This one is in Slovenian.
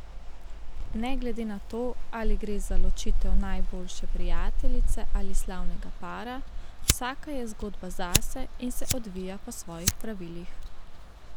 Ne glede na to, ali gre za ločitev najboljše prijateljice ali slavnega para, vsaka je zgodba zase in se odvija po svojih pravilih.